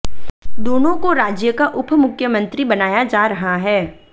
दोनों को राज्य का उपमुख्यमंत्री बनाया जा रहा है